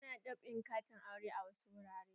Ana dab'in katin auren a wasu wurare.